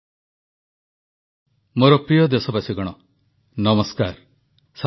ଦେଶରେ ପ୍ରତ୍ୟେକ ଆୟୋଜନରେ ଯେଉଁଭଳି ସଂଯମତା ଏବଂ ଆଡମ୍ବରଶୂନ୍ୟତା ପରିଲକ୍ଷିତ ହେଉଛି ତାହା ଅଭୂତପୂର୍ବ ପ୍ରଧାନମନ୍ତ୍ରୀ